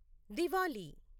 Diwali